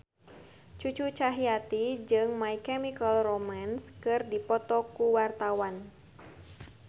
Cucu Cahyati jeung My Chemical Romance keur dipoto ku wartawan